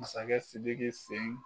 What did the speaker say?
Masakɛ Sidiki sen